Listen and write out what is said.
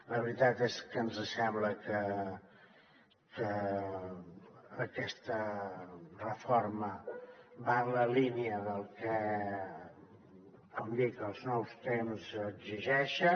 la veritat és que ens sembla que aquesta reforma va en la línia del que com dic els nous temps exigeixen